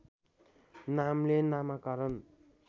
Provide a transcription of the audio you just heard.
नामले नामाकरण